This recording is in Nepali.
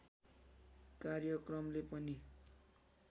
कार्यक्रमले पनि